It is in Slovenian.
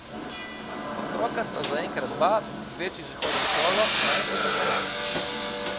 Otroka sta zaenkrat dva, večji že hodi v šolo, manjši pa še ne.